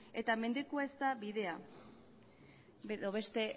eta mendekua ez da bidea edo beste